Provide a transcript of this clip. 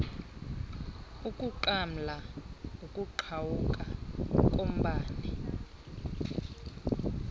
ukunqamla ukuqhawuka kombane